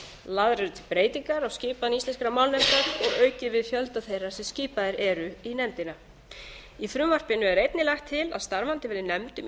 eru til breytingar á skipan íslenskrar málnefndar og er aukið við fjölda þeirra sem skipaðir eru í nefndina í frumvarpinu er einnig lagt til að starfandi verði nefnd um